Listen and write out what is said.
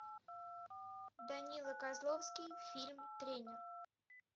данила козловский фильм тренер